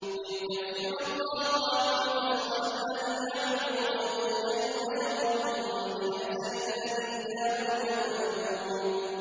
لِيُكَفِّرَ اللَّهُ عَنْهُمْ أَسْوَأَ الَّذِي عَمِلُوا وَيَجْزِيَهُمْ أَجْرَهُم بِأَحْسَنِ الَّذِي كَانُوا يَعْمَلُونَ